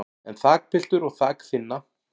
en þakpiltur og þak þynna